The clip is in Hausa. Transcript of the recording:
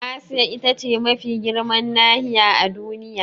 Asiya ita ce mafi girman nahiya a Duniya.